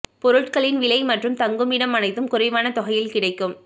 பொருட்களின் விலை மற்றும் தங்குமிடம் அனைத்தும் குறைவான தொகையில் கிடைக்கும்